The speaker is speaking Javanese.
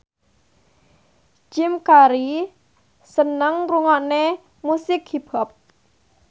Jim Carey seneng ngrungokne musik hip hop